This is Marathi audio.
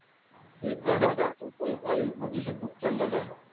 ते वायू प्रदूषण कुठच झाला